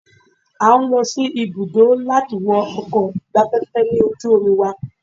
A ń lọ sí ibùdó láti wo ọkọ̀ ìgbafẹ́fẹ́ lójú omi wa.